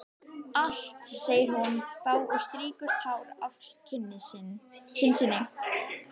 Allt, segir hún þá og strýkur tár af kinn sinni.